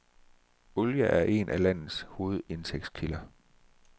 Olie er en af landets hovedindtægtskilder.